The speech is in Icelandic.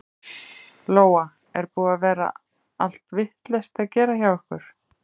Lóa: Er búið að vera allt vitlaust að gera hjá ykkur?